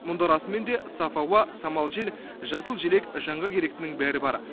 мұнда расымен де саф ауа самал жел жасыл желек жанға керектінің бәрі бар